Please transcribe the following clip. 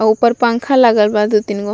अ ऊपर पंखा लागल बा दू-तीन गो।